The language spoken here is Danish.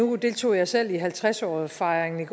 nu deltog jeg selv i halvtreds årsfejringen